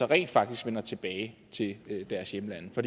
rent faktisk vender tilbage til deres hjemlande for